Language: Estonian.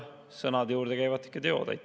Sõnade juurde käivad teod.